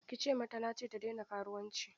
Ki ce mata na ce ta daina karuwanci!